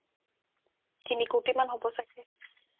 তিনি কৌটিমান হ'ব ছাগে